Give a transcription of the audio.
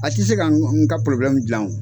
A tɛ se ka n ka dilan o.